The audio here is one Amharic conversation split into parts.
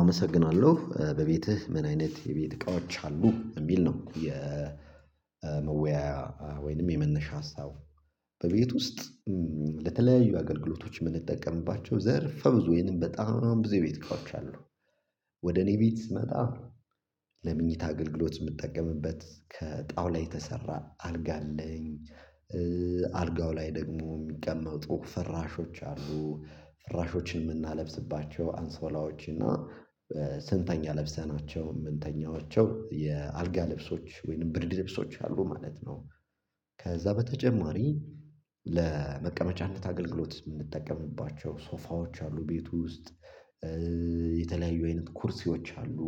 አመሰግናለሁ በቤትህ ምን አይነት የቤት እቃዎች አሉ የሚል ነው? የመወያያ ወይንም የመነሻ ሀሳብ። በቤት ውስጥ ለተለያዩ አገልግሎቶች የምንጠቀምባቸው ዘርፈ ብዙ ይሄንን በጣም አሁን ብዙ የቤት እቃወች አሉ። ወደ እኔ ቤት ስመጣ ለምኝታ አገልግሎት የምትጠቀምበት ከጣዉላ የተሰራ አልጋ አለኝ። አልጋው ላይ ደግሞ የሚቀመጡ ፍራሾች አሉ ፍራሾችን የምናለብስባቸው አንሶላዎች እና ስንተኛ ለብሰናቸው የምንተኛቸው የአልጋ ልብሶች ወይንም ብርድ ልብሶች አሉ ማለት ነው። ከዛ በተጨማሪ ለመቀመጫነት አገልግሎት የምንጠቀምባቸው ሶፋዎች አሉ ቤቱ ውስጥ። የተለያዩ አይነት ኩርሲዎች አሉ።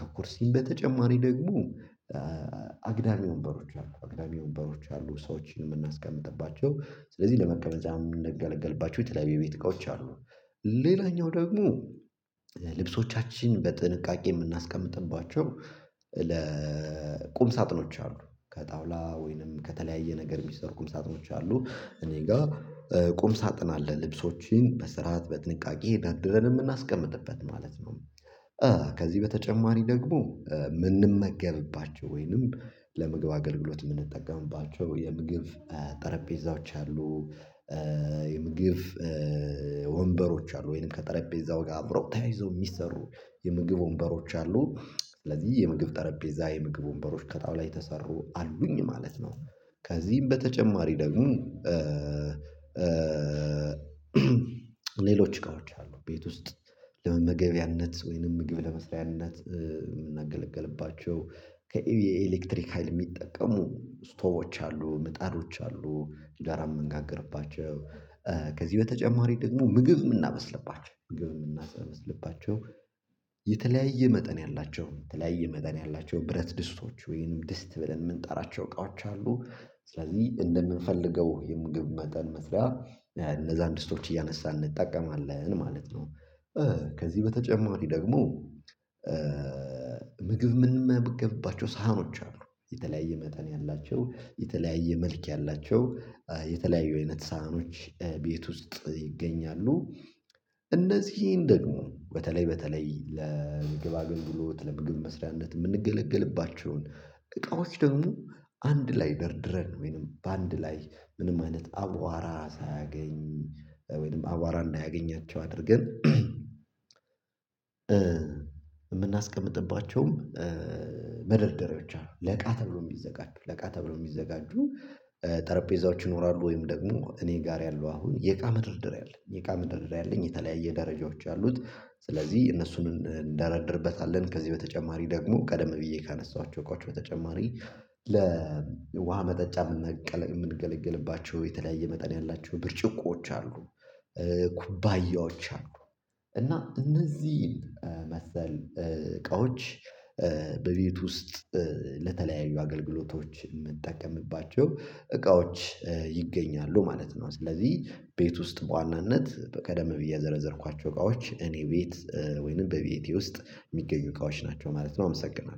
ከኮርሲም በተጨማሪ ደግሞ አግዳሚ ወንበሮች አሉ አግዳሚ ወንበሮች አሉ ሰዎችን የምናስቀምጥባቸው ስለዚህ ለመቀበል እዛም እንደገለገልባቸው የተለያየ ቤት እቃዎች አሉ። ሌላኛው ደግሞ ልብሶቻችን በጥንቃቄ የምናስቀምጥባቸው ለቁም ሳጥኖች አሉ ከጣውላ ወይንም ከተለያየ ነገር የሚሰሩ ቁም ሳጥኖች አሉ። እኔ ጋር ቁም ሳጥን አለ ልብሶችን በስርዓት በጥንቃቄ ደርድረን የምናስቀምጥበት ማለት ነው። ከዚህ በተጨማሪ ደግሞ የምንመገብባቸው ወይንም ለምግብ አገልግሎት የምንጠቀምባቸው የምግብ ጠረጴዛዎች አሉ። የምግብ ወንበሮች አሉ ወይንም ከጠረጴዛው ጋር አብረው ተያይዘው የሚሰሩ የምግብ ወንበሮች አሉ። ስለዚህ የምግብ ጠረጴዛ የምግብ ወንበሮች ከጣውላ የተሰሩ አሉኝ ማለት ነው። ከዚህም በተጨማሪ ደግሞ እቃወች አሉ ቤት ውስጥ ለመመገቢያነት ወይንም ምግብ ለመስሪያነት የምንገለግልባቸው ከኤሌክትሪክ ሀይል የሚጠቀሙ ስቶቮች አሉ ምጣዶች አሉ። እንጀራ የምንጋገርባቸው ከዚህ በተጨማሪ ደግሞ ምግብ የምናበስልባቸው ምግብ የምናበስልባቸው የተለያየ መጠን ያላቸው የተለያየ መጠን ያላቸው ብረት ድስቶች ወይም ድስት ብለን የምንጠራቸው እቃዎች አሉ። ስለዚህ እንደምንፈልገው የምግብ መጠን መስሪያ እነዛን ድስቶች እያነሳን እንጠቀማለን ማለት ነው። ከዚህ በተጨማሪ ደግሞ ምግብ የምንመገብባቸው ሳህኖች አሉ የተለያየ መጠን ያላቸው የተለያየ መልክ ያላቸው የተለያየ አይነት ሳህኖች ቤት ውስጥ ይገኛሉ። እነዚህ ደግሞ በተለይ በተለይ ለምግብ አገልግሎት ለምግብ መስሪያነት የምንገለገልባቸውን እቃዎች ደግሞ አንድ ላይ ደርድረን ወይንም በአንድ ላይ ምንም አይነት አቧራ ሳያገኝ ወይንም አቧራ እንዳያገኛቸው አድርገን የምናስቀምጥባቸውም መደርደሪያ ብቻ ነው ለቃ ተብሎ የሚዘጋጁ ለቃ ተብሎ የሚዘጋጁ ጠረጴዛዎች ይኖራሉ። ወይም ደግሞ እኔ ጋር ያለው አሁን የእቃ መደርደሪያ አለ አለኝ የእቃ መደረደሪያ አለኝ የተለያየ ደረጃወች አሉት። ስለዚህ እነሱን እንደረድርበታለን ከዚህ በተጨማሪ ደግሞ ቀደም ብዬ ካነሳኋቸው እቃዎች በተጨማሪ ለውሃ መጠጫ የምንገለግልባቸው የተለያየ መጠን ያላቸው ብርጭቆዎች አሉ። ኩባያዎች አሉ እና እነዚህን መሰል እቃዎች በቤት ውስጥ ለተለያዩ አገልግሎቶች የምጠቀምባቸው እቃዎች ይገኛሉ ማለት ነው። ስለዚህ ቤት ውስጥ በዋናነት በቀደም ብዬ የዘረዘርኳቸው እቃዎች እኔ ቤት ወይንም በቤቴ ውስጥ የሚገኙ እቃዎች ናቸው ማለት ነው። አመሰግናለሁ